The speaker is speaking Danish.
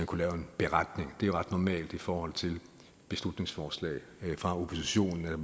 kunne lave en beretning det er jo ret normalt i forhold til beslutningsforslag fra oppositionen at